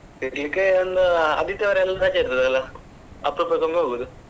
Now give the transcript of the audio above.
ತಿರ್ಗ್ಲಿಕ್ಕೆ ಒಂದು ಆದಿತ್ಯವಾರ ಎಲ್ಲ ರಜೆ ಇರ್ತದಲ್ಲ ಅಪರೂಪಕ್ಕೊಮ್ಮೆ ಹೋಗುದು.